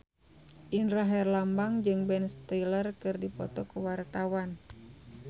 Indra Herlambang jeung Ben Stiller keur dipoto ku wartawan